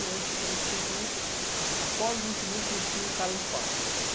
Então, tinha cliente que, após o vencimento, metia o cara no pau.